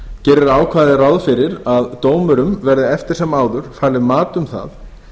gerir ákvæðið ráð fyrir að dómurum verði eftir sem áður falið mat um það